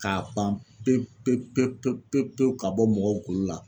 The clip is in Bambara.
K'a ban pewu pewu pewu pewu ka bɔ mɔgɔw golo la